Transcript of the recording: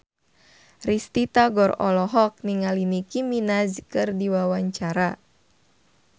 Risty Tagor olohok ningali Nicky Minaj keur diwawancara